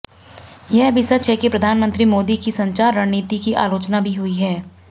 यह भी सच है कि प्रधानमनंत्री मोदी की संचार रणनीति की आलोचना भी हुई है